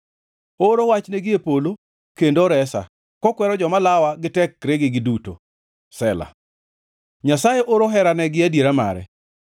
Ooro wach gie polo kendo oresa, kokwero joma lawa gi tekregi duto; Sela Nyasaye oro herane gi adiera mare.